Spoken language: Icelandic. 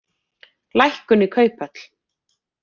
Lækkun í kauphöll